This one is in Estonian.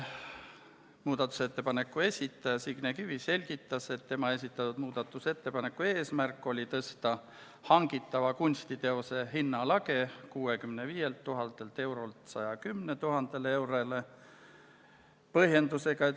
Muudatusettepaneku esitaja Signe Kivi selgitas, et tema esitatud muudatusettepaneku eesmärk oli tõsta hangitava kunstiteose hinnalage 65 000 eurolt 110 000 eurole.